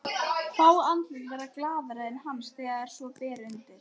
Fá andlit verða glaðari en hans þegar svo ber undir.